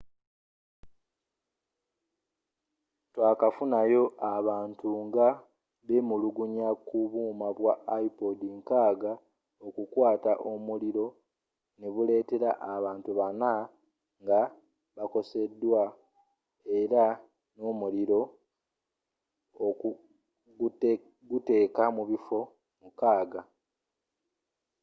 twakafunayo abantu nga b'emulugunya ku buuma bwa ipod nkaaga okukwata omuliro n'ebuletela abantu bana nga bakoseddwa era nga omuliro gukutte mu bifo mukaaga